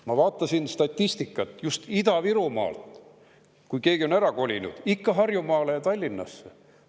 Ma vaatasin statistikat just Ida-Virumaa kohta: kui keegi on ära kolinud, siis ikka Harjumaale, Tallinnasse.